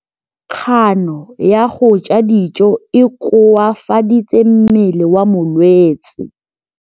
Kganô ya go ja dijo e koafaditse mmele wa molwetse.